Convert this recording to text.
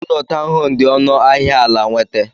Ụlọ tọwn home diọnụ ahia ala nwete.